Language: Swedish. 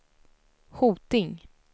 Hoting